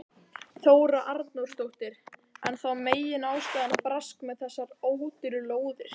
Þóra Arnórsdóttir: Er þá meginástæðan brask með þessar ódýru lóðir?